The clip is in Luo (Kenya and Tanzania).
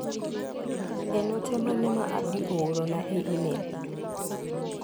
En ote mane Abdi oorona e imel.